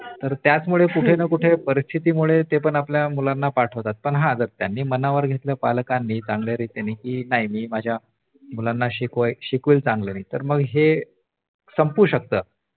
तर त्याचमुळे कुठेना कुठे परिस्थितीमुळे ते पण आपल्या मुलांना पाठवतात पण हा जर त्यांना मनावर घेतल पालकांनी चांगल्या रितीने कि नाही मी माझ्या मुलांना शिकवेल चांगल तर मग हे संपू शकतो